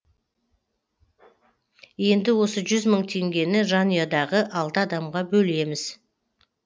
енді осы жүз мың теңгені жанұядағы алты адамға бөлеміз